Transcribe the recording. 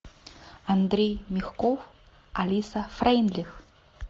андрей мягков алиса фрейндлих